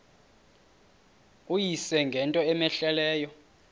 uyise ngento cmehleleyo